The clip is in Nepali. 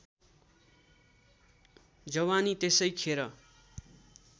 जवानी त्यसै खेर